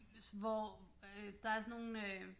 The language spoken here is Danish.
Hvor øh der er sådan nogle øh